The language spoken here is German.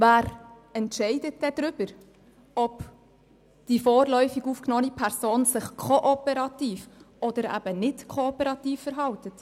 Wer entscheidet denn, ob die vorläufig aufgenommene Person sich kooperativ oder eben nicht kooperativ verhält?